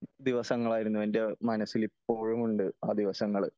ദിവസങ്ങൾ ആയിരുന്നു എന്റെ മനസ്സിൽ ഇപ്പോഴും ഉണ്ട് ആ ദിവസങ്ങള്